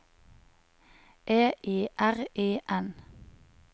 E I R I N